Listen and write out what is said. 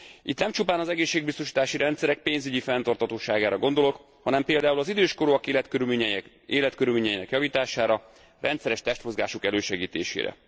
Itt nem csupán az egészségbiztosítási rendszerek pénzügyi fenntarthatóságára gondolok, hanem például az időskorúak életkörülményeinek javítására, rendszeres testmozgásuk elősegítésére.